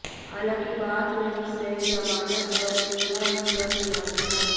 हालांकि बाद में उसे जमानत पर रिहा भी कर दिया गया